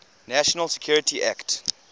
national security act